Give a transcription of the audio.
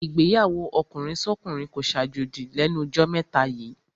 Ìgbéyàwó ọkùnrinsọ́kùnrin kó ṣàjòjì lẹ́nu jọ́ mẹ́ta yíì.